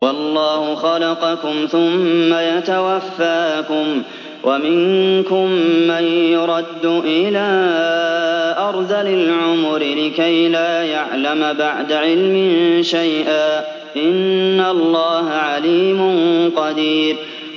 وَاللَّهُ خَلَقَكُمْ ثُمَّ يَتَوَفَّاكُمْ ۚ وَمِنكُم مَّن يُرَدُّ إِلَىٰ أَرْذَلِ الْعُمُرِ لِكَيْ لَا يَعْلَمَ بَعْدَ عِلْمٍ شَيْئًا ۚ إِنَّ اللَّهَ عَلِيمٌ قَدِيرٌ